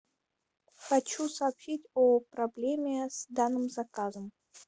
хочу сообщить о проблеме с данным заказом